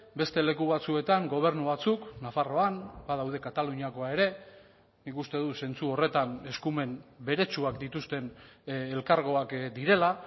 beste leku batzuetan gobernu batzuk nafarroan badaude kataluniakoa ere nik uste dut zentzu horretan eskumen beretsuak dituzten elkargoak direla